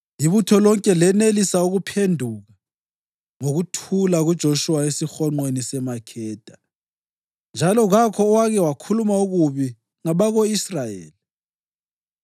Ibutho lonke lenelisa ukuphenduka ngokuthula kuJoshuwa esihonqweni seMakheda, njalo kakho owake wakhuluma okubi ngabako-Israyeli.